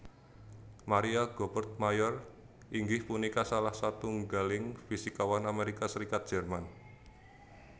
Maria Goeppert Mayer inggih punika salah satunggaling fisikawan Amerika Serikat Jerman